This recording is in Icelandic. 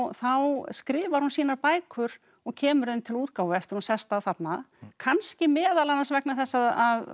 þá skrifar hún sínar bækur og kemur þeim til útgáfu eftir að hún sest að þarna kannski meðal annars vegna þess að